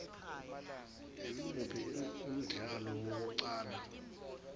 imuphi umdlalo wokuqala